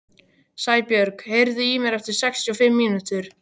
Sæbjörg, heyrðu í mér eftir sextíu og fimm mínútur.